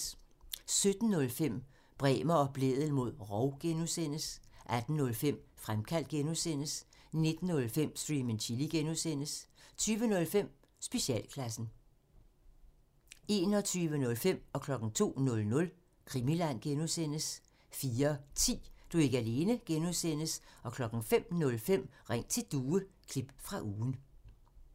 17:05: Bremer og Blædel mod rov (G) 18:05: Fremkaldt (G) 19:05: Stream and Chill (G) 20:05: Specialklassen 21:05: Krimiland (G) 02:00: Krimiland (G) 04:10: Du er ikke alene (G) 05:05: Ring til Due – klip fra ugen